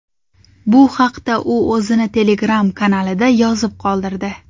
Bu haqda u o‘zini Telegram kanalida yozib qoldirdi .